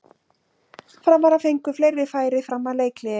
Framarar fengu fleiri færi fram að leikhléi.